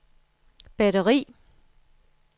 batteri